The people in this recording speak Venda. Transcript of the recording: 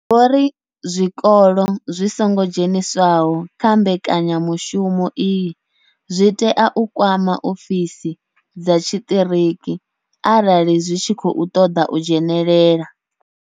Vho ri zwikolo zwi songo dzheniswaho kha mbekanya mushumo iyi zwi tea u kwama ofisi dza tshiṱiriki arali zwi tshi khou ṱoḓa u dzhenela.